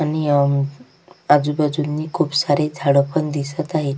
आणि आजूबाजूनी खुप सारे झाड पण दिसत आहे.